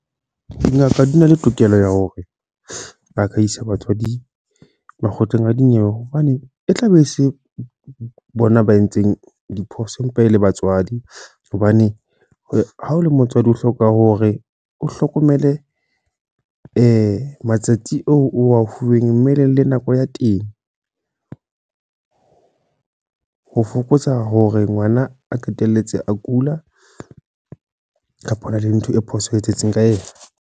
Dingaka di na le tokelo ya hore, ba ka isa batswadi makgotleng a dinyewe. Hobane e tla be e se bona ba entseng diphoso empa e le batswadi. Hobane ha o le motswadi, o hloka hore o hlokomele matsatsi oo o a fuweng mmeleng le nako ya teng. Ho fokotsa hore ngwana a qetelletse a kula kapa ho na le ntho e phoso e etsahetseng ka ena.